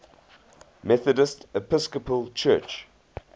methodist episcopal church